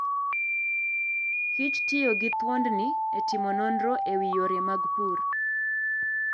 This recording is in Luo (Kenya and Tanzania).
kichtiyo gi thuondni e timo nonro e wi yore mag pur.